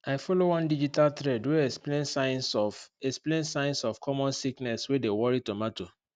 i follow one digital thread wey explain signs of explain signs of common sickness wey dey worry tomato